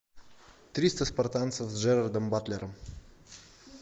триста спартанцев с джерардом батлером